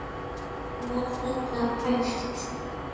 Var þetta æft?